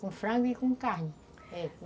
com frango e com carne, é